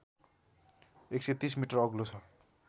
१३० metre अग्लो छ